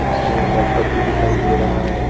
इसमें एक लैपटॉप भी दिखाई दे रहा है।